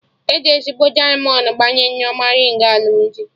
Eji ezigbo dịamọnd gbanye Nneoma rịng alụmdi